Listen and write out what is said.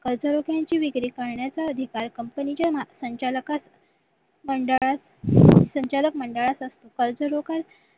कर्ज निधीची विक्री करण्याचा अधिकार company च्या संचालकाचा मंडळात संचालक मंडळात असते कर्जरोख्या